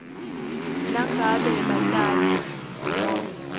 nangabe batali nobe